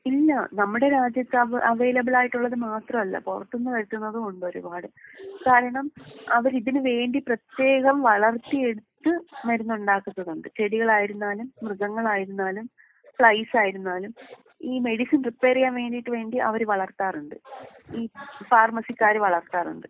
ഇല്ലാ നമ്മുടെ രാജ്യത്ത് അവൈലബിളായിട്ടുള്ളത് മാത്രമല്ല പുറത്തുന്ന് വരുത്തുന്നമുണ്ട് ഒരുപാട്. കാരണം അവരിതിനുവേണ്ടി പ്രത്യേകം വളർത്തിയെടുത്ത് മരുന്ന് ഉണ്ടാക്കുന്നതുണ്ട്. ചെടികളായിരുന്നാലും, മൃഗങ്ങളായിരുന്നാലും, ഫ്ലൈസ് ആയിരുന്നാലും ഈ മെഡിസിൻ പ്രിപ്പയർ ചെയ്യാൻ വേണ്ടീട്ട് വേണ്ടി അവര് വളർത്താറുണ്ട്. ഈ ഫാർമസിക്കാര് വളർത്താറുണ്ട്.